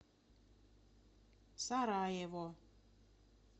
сараево